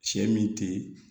Sɛ min tɛ yen